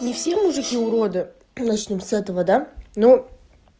не все мужики уроды начнём с этого да но